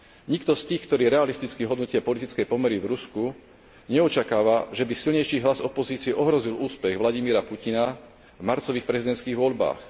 Nikto z tých, ktorí realisticky hodnotia politické pomery v Rusku, neočakáva, že by silnejší hlas opozície ohrozil úspech Vladimíra Putina v marcových prezidentských voľbách.